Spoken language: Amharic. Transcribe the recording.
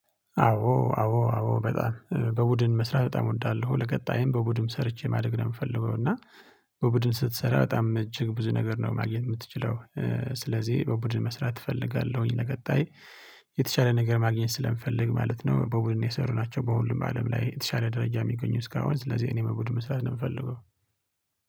አዎ አዎ አዎ በጣም በቡድን መስራት በጣም እወዳለሁ ለቀጣይም በቡድን ሰርቼ ማደግ ነው የምፈልገው። እና በቡድን ስትሰራ በጣም እጅግ ብዙ ነገር ነው ማግኘት የምትችለው። ስለዚህ በቡድን መስራት እፈልጋለሁኝ። ለቀጣይ የተሻለ ነገር ማግኘት ስለምፈልግ ማለት ነው። በቡድን የሰሩ ናቸው በሁሉም አለም ላይ የተሻለ ደረጃ የሚገኙ እስካሁን ስለዚህ እኔም በብዱን መስራት ነው የምፈልገው።